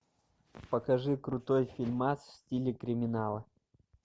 покажи крутой фильмас в стиле криминала